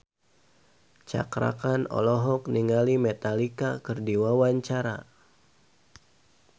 Cakra Khan olohok ningali Metallica keur diwawancara